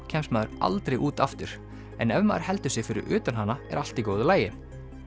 kemst maður aldrei út aftur en ef maður heldur sig fyrir utan hana er allt í góðu lagi